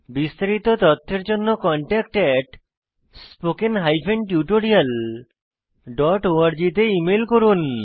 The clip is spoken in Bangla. বিস্তারিত তথ্যের জন্য contactspoken tutorialorg তে ইমেল করুন